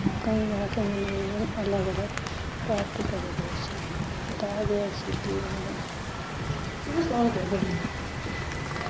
ਕਈ ਤਰਾ ਕੇ ਮਨੋਰੰਜਨ ਆਲੱਗ ਅਲੱਗ ਪ੍ਰਾਪਤ ਕਰਏ ਗਏ ਸੀ ਬਤਾਇਆ ਗਿਆ ਸੀ ਕੀ